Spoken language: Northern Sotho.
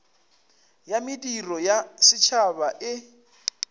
ya mediro ya setšhaba e